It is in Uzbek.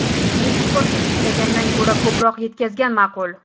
Eksportni cheklagandan ko‘ra ko‘proq yetkazgan ma’qul”.